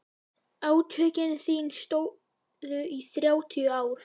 Átökin stóðu í þrjátíu ár.